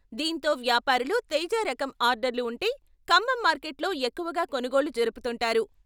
దీంతో వ్యాపారులు తేజా రకం ఆర్డర్లు ఉంటే ఖమ్మం మార్కెట్లో ఎక్కువగా కొనుగోళ్లు జరుపుతుంటారు.